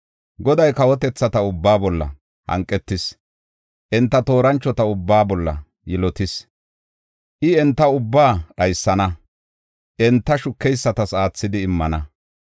Goday kawotethata ubbaa bolla hanqetis; enta tooranchota ubbaa bolla yilotis. I, enta ubbaa dhaysana; enta shukeysatas aathidi immana.